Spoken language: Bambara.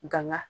Ganga